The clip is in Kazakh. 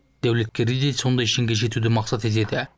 дәулеткерей де сондай шыңға жетуді мақсат етеді